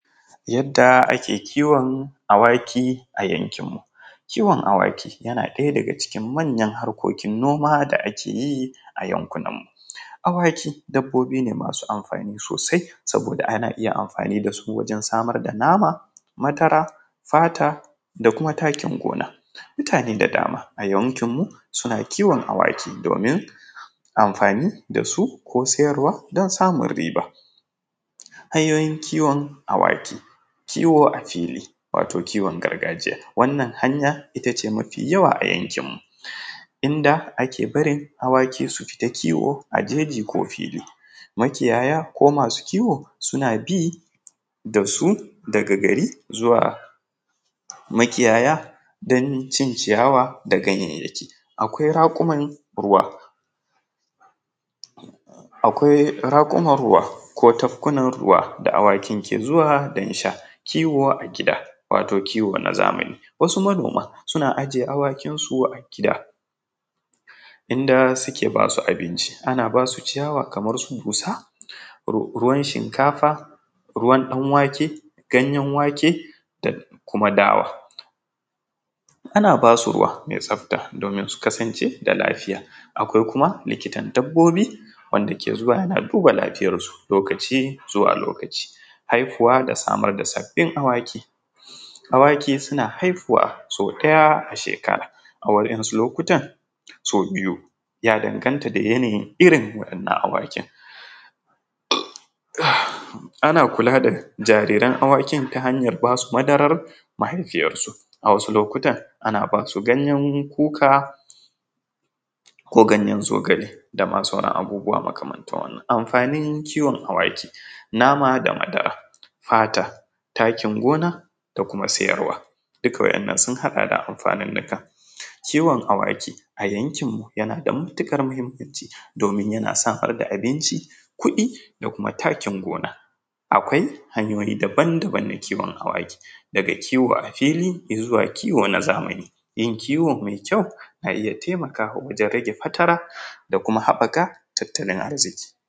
Yadda ake kiwon Awaki a yankin mu, kiwon Awaki yana ɗaya daga cikin manyan harkokin noma da ake yi a yankunan mu, awaki dabbobi ne masu amfani sosai saboda ana iya amfani da su wajen samar nama, madara, fata da kuma takin gona, mutane da dama a yankin mu suna kiwon awaki domin amfani dasu ko siyarwa don samun riba. Hanyoyin kiwon Awaki, kiwo kiwo a fili wato kiwon gargajiya wannan hanya itace mafi yawa a yankin inda ake barin Awaki su fita kiwo a jeji ko fili makiyaya ko masu kiwo suna bi dasu daga gari zuwa makiyaya don cin ciyawa ganyayyaki, akwai rakuman ruwa ko tafkunan ruwa da Awakin ke zuwa don sha, kiwo a gida wato kiwo na zamani wasu manoma suna ajiye Awakin su a gida inda suke basu abinci ana basu ciyawa kamar su dusa, ruwan shinkafa, ruwan ɗanwake, ganyen wake da kuma dawa, ana basu ruwa mai tsafta domin su kasance da lafiya akwai kuma likitan dabbobi wanda ke zuwa yana duba lafiyar su lokaci zuwa lokaci. Haihuwa da samar da sabbin Awaki, Awaki suna haihuwa sau ɗaya a shekara a wasu lokutan sau biyu ya danganta da yanayin irin wannan Awakin, ana kula da jariran Awakin ta hanyar basu madarar mahaifiyar su a wasu lokuta ana basu ganyar kuka ko ganyan zogale dama sauran abubuwa makamantar wannan. Amfanin kiwon Awaki nama da madara, fata, takin gona da kuma siyarwa dukan waɗannan sun haɗa amfanunnuka, kiwon Awaki a yankin mu yana da matukar muhimmanci domin yana a rika abinci, kuɗi da kuma takin gona, akwai hanyoyi daban-daban na kiwon Awaki daga kiwo a fili ya zuwa kiwo na zamani, yin kiwo mai kyau na iya taimakawa wajen rage fatara da kuma haɓaka tattalin arziki.